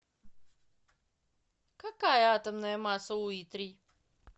какая атомная масса у иттрий